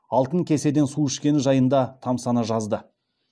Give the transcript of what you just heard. алтын кеседен су ішкені жайында тамсана жазды